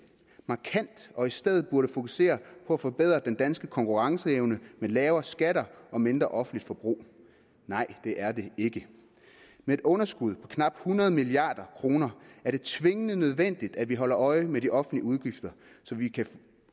markant og i stedet fokusere på at forbedre den danske konkurrenceevne med lavere skatter og mindre offentligt forbrug nej det er det ikke med et underskud på knap hundrede milliard kroner er det tvingende nødvendigt at vi holder øje med de offentlige udgifter